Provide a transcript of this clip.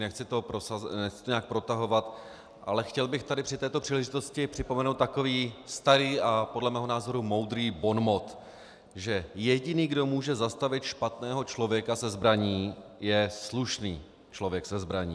Nechci to nějak protahovat, ale chtěl bych tady při této příležitosti připomenout takový starý a podle mého názoru moudrý bonmot, že jediný, kdo může zastavit špatného člověka se zbraní, je slušný člověk se zbraní.